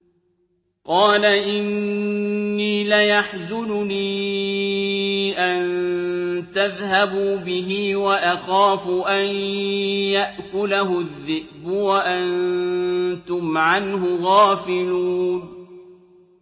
قَالَ إِنِّي لَيَحْزُنُنِي أَن تَذْهَبُوا بِهِ وَأَخَافُ أَن يَأْكُلَهُ الذِّئْبُ وَأَنتُمْ عَنْهُ غَافِلُونَ